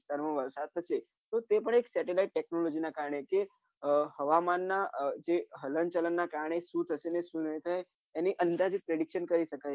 વિસ્તારમાં વરસાદ તો છે તો તે પણ એક satellite technology ના કારણે છે હવામાનના જે હલન ચલન ના કારણે અને અંદાજીત prediction કરી શકાય છે